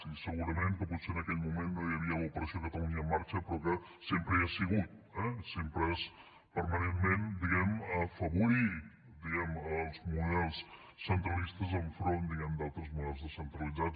i segurament que potser en aquell moment no hi havia l’ operació catalunya en marxa però que sempre hi ha sigut eh sempre és permanentment diguem ne afavorir els models centralistes enfront diguem ne d’altres models descentralitzats